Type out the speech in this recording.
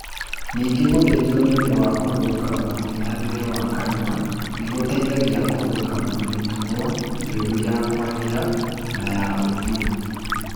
Ningĩ gũthĩnjwo nĩ ũndũ wa kũrũnga mũng'ethanĩre wa kanua nĩ gũteithagia kũrũnga mĩtugo mĩũru ya kwaria na ya ũthiũ.